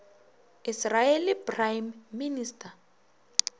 israeli prime minister